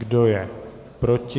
Kdo je proti?